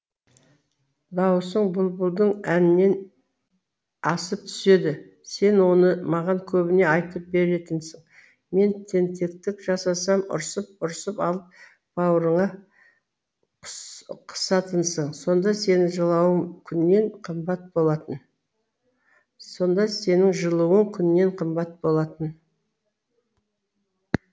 дауысың бұлбұлдың әнінен асып түседі сен оны маған көбіне айтып беретінсің мен тентектік жасасам ұрсып ұрсып алып бауырыңа қысатынсың сонда сенің жылуың күннен қымбат болатын